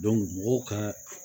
mɔgɔw ka